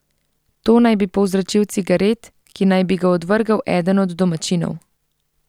To naj bi povzročil cigaret, ki naj bi ga odvrgel eden od domačinov.